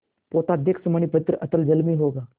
पोताध्यक्ष मणिभद्र अतल जल में होगा